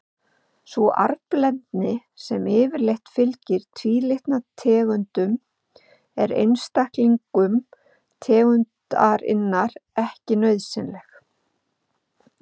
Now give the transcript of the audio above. Sú arfblendni sem yfirleitt fylgir tvílitna tegundum er einstaklingum tegundarinnar ekki nauðsynleg.